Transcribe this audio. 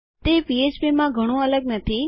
તે પીએચપીમાં ઘણું અલગ નથી